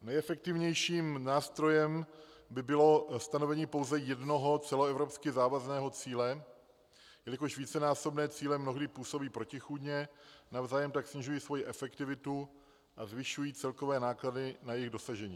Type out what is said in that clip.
Nejefektivnějším nástrojem by bylo stanovení pouze jednoho celoevropsky závazného cíle, jelikož vícenásobné cíle mnohdy působí protichůdně, navzájem tak snižují svoji efektivitu a zvyšují celkové náklady na jejich dosažení.